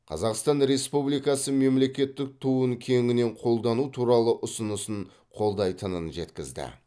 қазақстан республикасы мемлекеттік туын кеңінен қолдану туралы ұсынысын қолдайтынын жеткізді